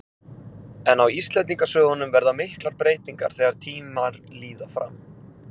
En á Íslendingasögum verða miklar breytingar þegar tímar líða fram.